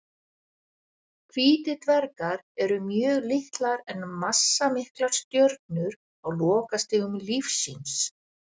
Hvítir dvergar eru mjög litlar en massamiklar stjörnur á lokastigum lífs síns.